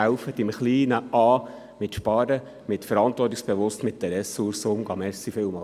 Helfen Sie im Kleinen zu sparen und verantwortungsvoll mit Ressourcen umzugehen.